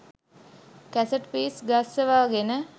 cassette piece ගස්සවගෙන